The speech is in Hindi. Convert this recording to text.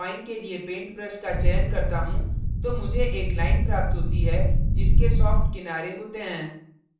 जब मैं drawing के लिए paint brush का चयन करता हूँ तो मुझे एक line प्राप्त होती है जिसके soft किनारे होते हैं